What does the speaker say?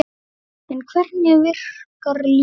En hvernig virkar lyfið?